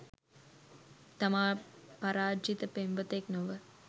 තමා පරාජිත පෙම්වතෙක් නොව